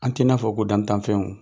An tɛ n'a fɔ ko dantanfɛnw.